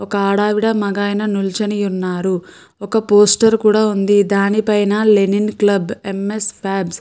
ఒక ఆడావిడ మగాయన నుంచనియున్నారు. ఒక పోస్టర్ కూడా ఉంది దానిపైన లెనిన్ క్లబ్ ఎం ఎస్ ఫెబ్స్ --